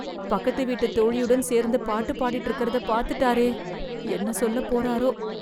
பக்கத்து வீட்டு தோழியுடன் சேர்ந்து பாட்டு பாடிட்டு இருக்கறத பாத்துட்டாரே... என்ன சொல்லப் போறாரோ...